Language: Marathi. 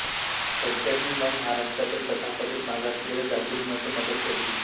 फडक्यांनी मग महाराष्ट्रातील तथाकथित मागासलेल्या जातींमध्ये मदत शोधली